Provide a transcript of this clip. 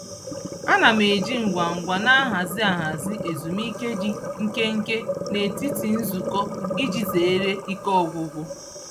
Ana m eji ngwa ngwa nhazi ahazi ezumike dị nkenke n'etiti nzukọ iji zeere ike ọgwụgwụ.